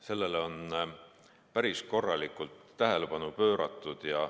Sellele on päris korralikult tähelepanu pööratud.